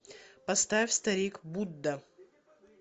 поставь старик будда